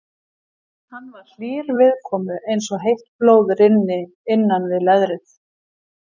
Hann var hlýr viðkomu eins og heitt blóð rynni innan við leðrið.